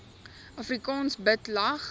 afrikaans bid lag